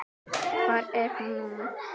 Hvar er hún núna?